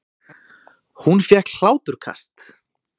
Hún fékk hláturkast.